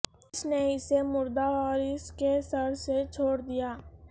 اس نے اسے مردہ اور اس کے سر سے چھوڑ دیا